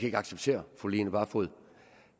ikke acceptere at fru line barfod